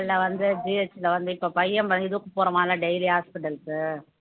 வந்து GH ல வந்து இப்ப பையன் daily உம் hospital க்கு